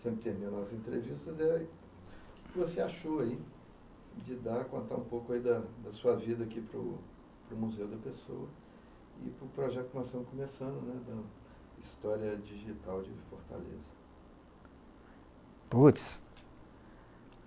sempre terminando as entrevistas, o que você achou de dar, contar um pouco da sua vida aqui para o Museu da Pessoa e para o projeto que nós estamos começando, a História Digital de Fortaleza?